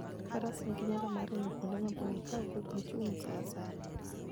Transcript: Faras nigi nyalo mar ringo kuonde maboyo ka ok gichung' sa asaya.